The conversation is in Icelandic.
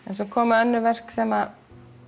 en svo koma önnur verk þar sem